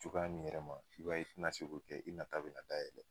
Cogoya nin yɛrɛ ma i b'a ye i tina se k'o kɛ i nata nina dayɛlɛ taa yɛlɛ.